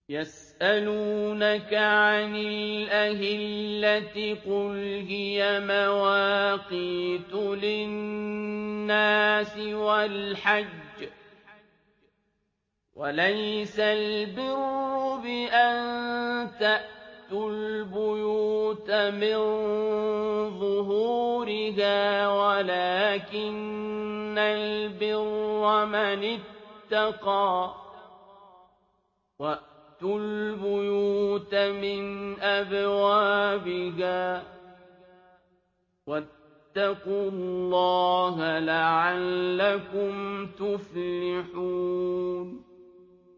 ۞ يَسْأَلُونَكَ عَنِ الْأَهِلَّةِ ۖ قُلْ هِيَ مَوَاقِيتُ لِلنَّاسِ وَالْحَجِّ ۗ وَلَيْسَ الْبِرُّ بِأَن تَأْتُوا الْبُيُوتَ مِن ظُهُورِهَا وَلَٰكِنَّ الْبِرَّ مَنِ اتَّقَىٰ ۗ وَأْتُوا الْبُيُوتَ مِنْ أَبْوَابِهَا ۚ وَاتَّقُوا اللَّهَ لَعَلَّكُمْ تُفْلِحُونَ